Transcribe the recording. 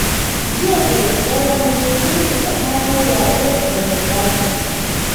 Jiya da daddare na je sulhu tsakanin rabe da mai ɗakinsa